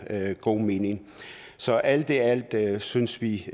god mening så alt i alt synes vi